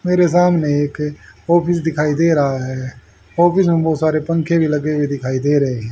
मेरे सामने एक ऑफिस दिखाई दे रहा है ऑफिस में बहुत सारे पंखे भी लगे हुए दिखाई दे रहे हैं।